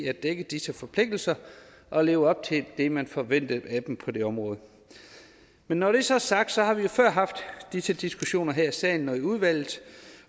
at dække disse forpligtelser og leve op til det man forventede af dem på det område når det så er sagt har vi jo før haft disse diskussioner her i salen og i udvalget